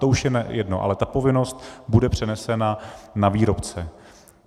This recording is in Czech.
To už je jedno, ale ta povinnost bude přenesena na výrobce.